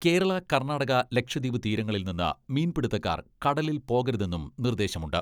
കേരള കർണ്ണാടക, ലക്ഷദ്വീപ് തീരങ്ങളിൽനിന്ന് മീൻപിടുത്തക്കാർ കടലിൽ പോകരുതെന്നും നിർദ്ദേശമുണ്ട്.